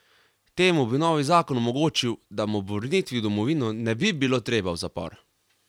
Temu bi novi zakon omogočil, da mu ob vrnitvi v domovino ne bi bilo treba v zapor.